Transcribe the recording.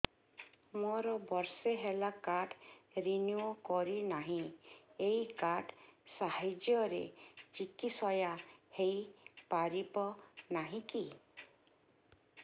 ମୋର ବର୍ଷେ ହେଲା କାର୍ଡ ରିନିଓ କରିନାହିଁ ଏହି କାର୍ଡ ସାହାଯ୍ୟରେ ଚିକିସୟା ହୈ ପାରିବନାହିଁ କି